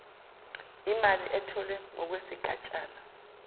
imali etholwe ngokwesigatshana